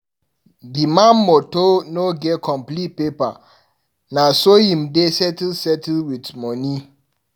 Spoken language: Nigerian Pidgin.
Di man motor no get complete paper, na so im dey settle settle with moni.